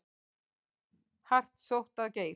Hart sótt að Geir